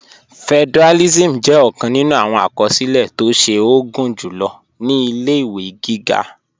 Federalism jẹ ọkan nínú awọn akọsilẹ̀ tó ṣe o gunjulo ni ilẹ̀-iwe gígá.